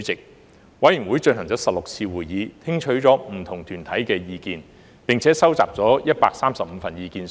法案委員會進行了16次會議，聽取了不同團體的意見，並收集了135份意見書。